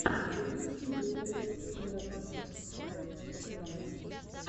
у тебя есть видеорецепт мира танцев ворлд оф данс